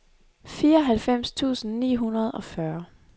fireoghalvfems tusind ni hundrede og fyrre